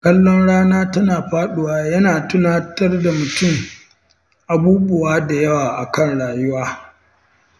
Kallon rana tana faɗuwa yana tunatar da mutum abubuwa da yawa a kan rayuwa.